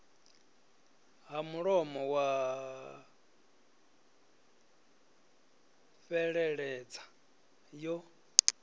ha mulomo ya fheleledza yo